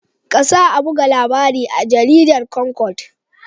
Kasa a buga labarin a jaridar Concord.